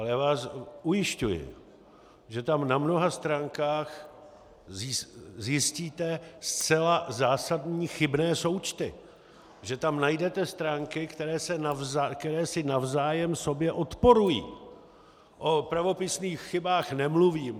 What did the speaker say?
Ale já vás ujišťuji, že tam na mnoha stránkách zjistíte zcela zásadní chybné součty, že tam najdete stránky, které si navzájem sobě odporují, o pravopisných chybách nemluvím.